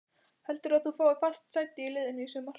Heldurðu að þú fáir fast sæti í liðinu í sumar?